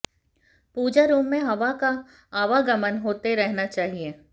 पूजा room में हवा का आवागमन होते रहना चाहिए